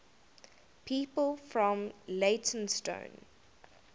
people from leytonstone